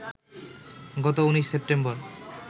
গত ১৯ সেপ্টেম্বর